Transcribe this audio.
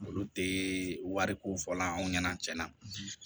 Olu tɛ wariko fɔ la anw ɲɛna cɛn na